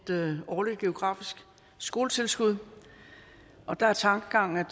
årligt geografisk skoletilskud og der er tankegangen